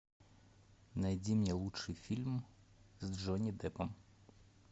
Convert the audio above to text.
найди мне лучший фильм с джонни деппом